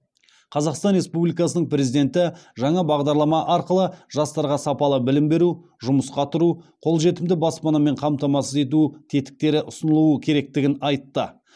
қазақстан республикасының президенті жаңа бағдарлама арқылы жастарға сапалы білім беру жұмысқа тұру қолжетімді баспанамен қамтамасыз ету тетіктері ұсынылуы керектігін айтты